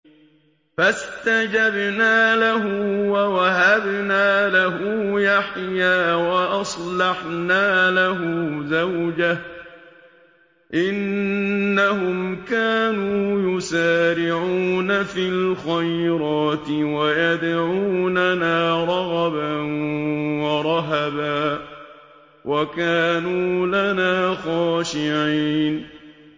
فَاسْتَجَبْنَا لَهُ وَوَهَبْنَا لَهُ يَحْيَىٰ وَأَصْلَحْنَا لَهُ زَوْجَهُ ۚ إِنَّهُمْ كَانُوا يُسَارِعُونَ فِي الْخَيْرَاتِ وَيَدْعُونَنَا رَغَبًا وَرَهَبًا ۖ وَكَانُوا لَنَا خَاشِعِينَ